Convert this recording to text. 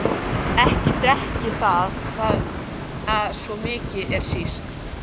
Ekki drekk ég það, svo mikið er víst.